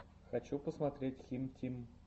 хочу посмотреть хим тим